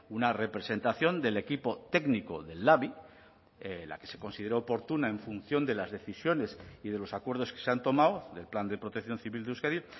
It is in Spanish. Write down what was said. una representación del equipo técnico del labi la que se considere oportuna en función de las decisiones y de los acuerdos que se han tomado del plan de protección civil de euskadi